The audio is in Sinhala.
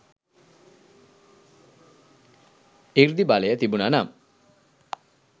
සෘද්ධි බලය තිබුන නම්